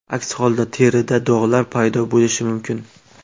Aks holda, terida dog‘lar paydo bo‘lishi mumkin.